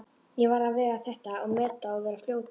Ég varð að vega þetta og meta og vera fljótur.